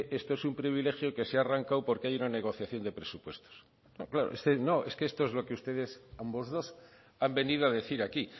esto es un privilegio que se ha arrancado porque hay una negociación de presupuestos pero claro es que esto es lo que ustedes ambos dos han venido a decir aquí